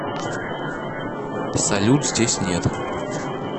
салют здесь нет